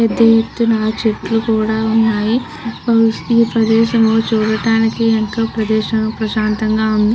పెద్ద ఎత్తున చెట్లుకుడా ఉన్నాయి ఈ ప్రదేశము చూడటానికి ఎంతో ప్రదేశం ప్రశాంతంగా ఉంది.